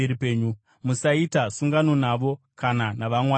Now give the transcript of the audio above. Musaita sungano navo kana navamwari vavo.